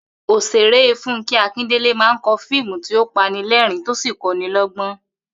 Ò̩sè̩ré Fúnké̩ Akíndèlé máa ń ko̩ fíìmù tí ó panilé̩rìn-ín tó sì ń kó̩niló̩gbó̩n